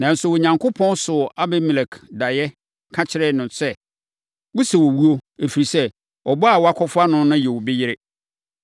Nanso, Onyankopɔn soo Abimelek daeɛ, ka kyerɛɛ no sɛ, “Wosɛ owuo, ɛfiri sɛ, ɔbaa a woakɔfa no no yɛ obi yere.”